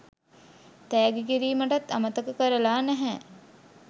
තෑගි කිරිමටත් අමතක කරලා නැහැ